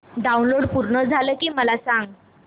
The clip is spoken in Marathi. डाऊनलोड पूर्ण झालं की मला सांग